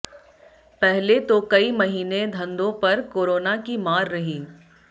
पहले तो कई महीने धंधों पर कोरोना की मार रही